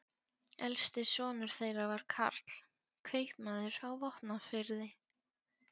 Elsti sonur þeirra var Karl, kaupmaður á Vopnafirði.